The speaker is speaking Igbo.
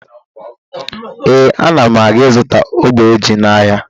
Ee, ana m aga izụta ogbe ji n'ahịa